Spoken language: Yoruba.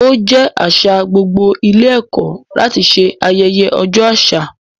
Ó jẹ́ àṣà gbogbo ilé ẹ̀kọ́ láti ṣe ayẹyẹ ọjọ́ àṣà.